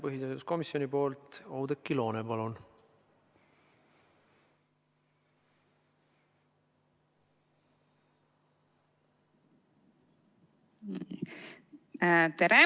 Põhiseaduskomisjoni esindaja Oudekki Loone, palun!